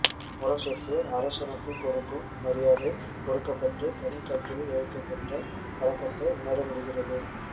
முரசுக்கு அரசனுக்குக் கொடுக்கும் மரியாதை கொடுக்கப்பட்டு தனிக்கட்டிலில் வைக்கப்பட்ட வழக்கத்தை உணரமுடிகிறது